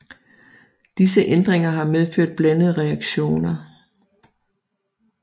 Disse ændringer har medført blandede reaktioner